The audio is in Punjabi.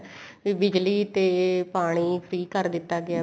ਵੀ ਬਿਜਲੀ ਤੇ ਪਾਣੀ free ਕਰ ਦਿੱਤਾ ਗਿਆ